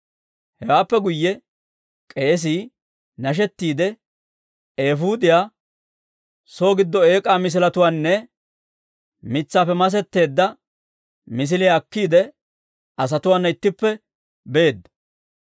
Hewaappe guyye k'eesii nashettiidde eefuudiyaa, soo giddo eek'aa misiletuwaanne mitsaappe masetteedda misiliyaa akkiide, asatuwaana ittippe beedda.